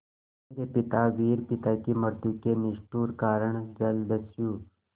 मेरे पिता वीर पिता की मृत्यु के निष्ठुर कारण जलदस्यु